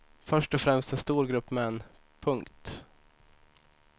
Först och främst en stor grupp män. punkt